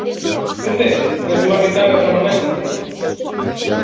Guðveig, hversu margir dagar fram að næsta fríi?